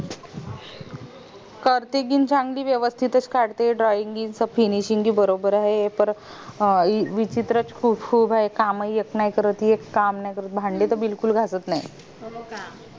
काढते पण चांगली वेवस्तीत च काढते drawing finishing बी बरोबर आहे परंत अं विचित्र खूप आहे काम येत नायत परत एक काम नाय करत भांडे त बिकूल घासत नाय